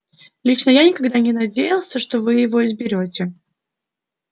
лично я никогда не надеялся что вы его изберёте